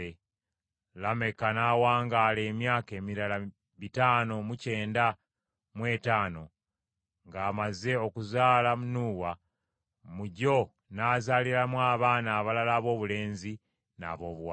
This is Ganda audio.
Lameka n’awangaala emyaka emirala bitaano mu kyenda mu etaano ng’amaze okuzaala Nuuwa, mu gyo n’azaaliramu abaana abalala aboobulenzi n’aboobuwala.